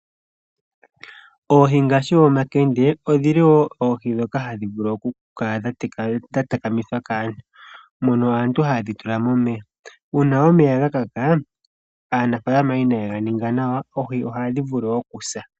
Oohi ngaashi omakende odhili woo oohi dhoka hadhi vulu oku kala dha takamithwa kaantu mono aantu heye dhi tula momeya. Uuna omeya gakaka aanafalama ina ye ga ninga nawa oohi ohadhi vulu okusa.